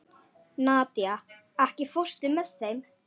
Nadía, ekki fórstu með þeim?